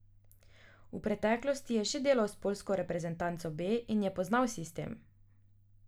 V preteklosti je že delal s poljsko reprezentanco B in je poznal sistem.